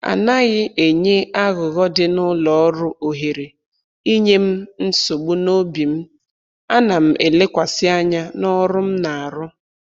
Anaghị enye aghụghọ dị n'ụlọ ọrụ ohere inye m nsogbu n'obi m, ana m elekwasị anya n'ọrụ m na-arụ